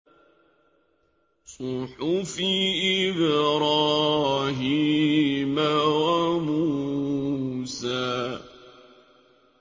صُحُفِ إِبْرَاهِيمَ وَمُوسَىٰ